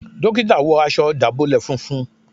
Dókítà wọ aṣọ dábọlẹ fúnfún